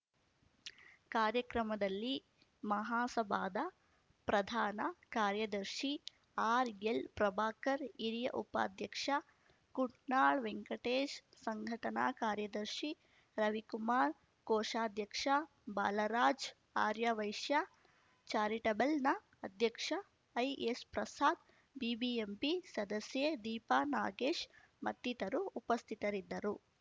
ಕಾರ್ಯಕ್ರಮದಲ್ಲಿ ಮಹಾಸಭಾದ ಪ್ರಧಾನ ಕಾರ್ಯದರ್ಶಿ ಆರ್ಎಲ್‌ಪ್ರಭಾಕರ್ ಹಿರಿಯ ಉಪಾಧ್ಯಕ್ಷ ಕುಂಟ್ನಾಳ್‌ ವೆಂಟಕೇಶ್‌ ಸಂಘಟನಾ ಕಾರ್ಯದರ್ಶಿ ರವಿಕುಮಾರ್ ಕೋಶಾಧ್ಯಕ್ಷ ಬಾಲರಾಜ್‌ ಆರ್ಯವೈಶ್ಯ ಚಾರಿಟಬಲ್‌ನ ಅಧ್ಯಕ್ಷ ಐಎಸ್‌ಪ್ರಸಾದ್‌ ಬಿಬಿಎಂಪಿ ಸದಸ್ಯೆ ದೀಪಾ ನಾಗೇಶ್‌ ಮತ್ತಿತರು ಉಪಸ್ಥಿತರಿದ್ದರು